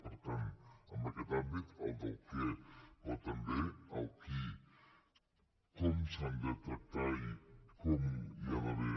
per tant en aquest àmbit el del què però també el qui com s’han de tractar i com hi ha d’haver